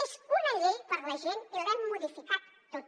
és una llei per a la gent i l’hem modificat tota